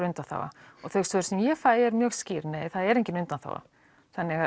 undanþága og þau svör sem ég fæ eru skýr nei það er engin undanþága þannig að